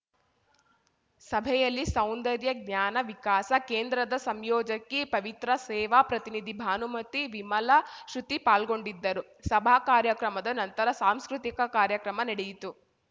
ಸಭೆಯಲ್ಲಿ ಸೌಂದರ್ಯ ಜ್ಞಾನ ವಿಕಾಸ ಕೇಂದ್ರದ ಸಂಯೋಜಕಿ ಪವಿತ್ರ ಸೇವಾ ಪ್ರತಿನಿಧಿ ಭಾನುಮತಿ ವಿಮಲ ಶೃತಿ ಪಾಲ್ಗೊಂಡಿದ್ದರು ಸಭಾ ಕಾರ್ಯಕ್ರಮದ ನಂತರ ಸಾಂಸ್ಕೃತಿಕ ಕಾರ್ಯಕ್ರಮ ನೆಡೆಯಿತು